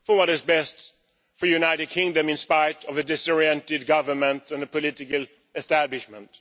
what is best for the United Kingdom, in spite of a disoriented government and political establishment